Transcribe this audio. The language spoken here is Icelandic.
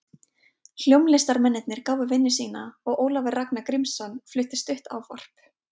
Hljómlistarmennirnir gáfu vinnu sína og Ólafur Ragnar Grímsson flutti stutt ávörp.